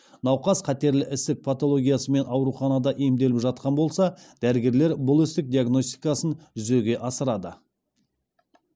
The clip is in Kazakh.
науқас қатерлі ісік патологиясымен ауруханада емделіп жатқан болса дәрігерлер бұл ісік диагностикасын жүзеге асырады